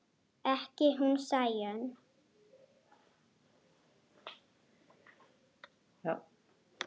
Ekki hún Sæunn.